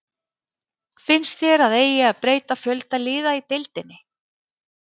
Finnst þér að eigi að breyta fjölda liða í deildinni?